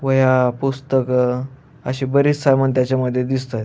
वह्या पुस्तक अशी बरीच सामान त्याच्या मधे दिसतायत.